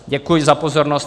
Děkuji za pozornost.